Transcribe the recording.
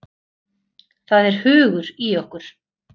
Það er hugur í okkur.